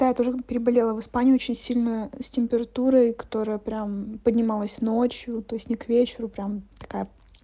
да я тоже как-то переболела в испании очень сильно с температурой которая прям поднималась ночью то есть не к вечеру прям такая